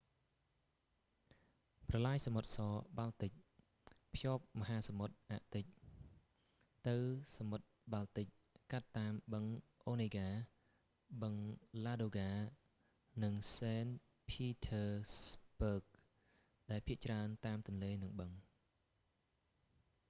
ប្រឡាយសមុទ្រស-បាល់ទិក white sea-baltic canal ភ្ជាប់មហាសមុទ្រអាកទិច ទៅសមុទ្របាល់ទិចកាត់តាមបឹងអូនេហ្កា onega បឹង ឡាដូហ្កា ladoga និង សេន ភីធើស្បឺគ saint petersburg ដែលភាគច្រើនតាមទន្លេ និងបឹង